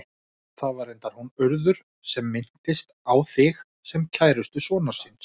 Það var reyndar hún Urður sem minntist á þig, sem kærustu sonar síns.